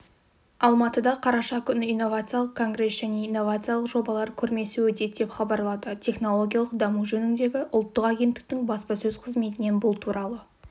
алматыда қараша күні инновациялық конгресс және инновациялық жобалар көрмесі өтеді деп хабарлады технологиялық даму жөніндегі ұлттық агенттіктің баспасөз қызметінен бұл туралы